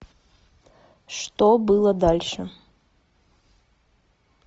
что было дальше